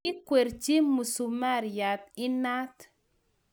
Kikwerchi musumariat inat